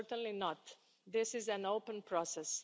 Certainly not this is an open process.